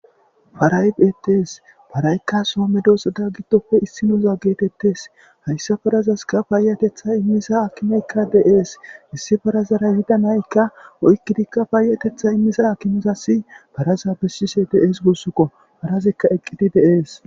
Paaray bttees paraykka soo medoosatta giddoppe issinooza geetettes hayssa farazaska paayatetha immiza akimeykka de'ees issi farazara yida naykka oykkidikka paayatetha immiza akimizassi paraza bessishshe de'ees gussukko parazikka eqqidi de'ees